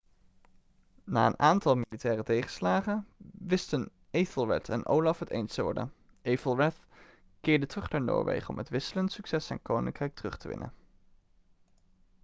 na een aantal militaire tegenslagen wisten ethelred en olaf het eens te worden ethelred keerde terug naar noorwegen om met wisselend succes zijn koninkrijk terug te winnen